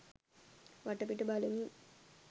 වටපිට බලමින්